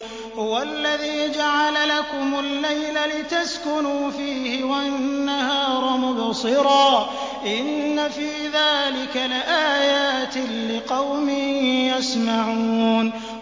هُوَ الَّذِي جَعَلَ لَكُمُ اللَّيْلَ لِتَسْكُنُوا فِيهِ وَالنَّهَارَ مُبْصِرًا ۚ إِنَّ فِي ذَٰلِكَ لَآيَاتٍ لِّقَوْمٍ يَسْمَعُونَ